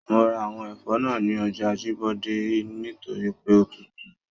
Mo ra àwọn ẹfọ náà ní ọjà Ajibọde nítorí pé o tútù.